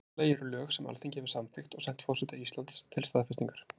Í fyrsta lagi eru lög sem Alþingi hefur samþykkt og sent forseta Íslands til staðfestingar.